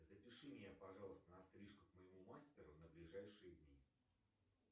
запиши меня пожалуйста на стрижку к моему мастеру на ближайшие дни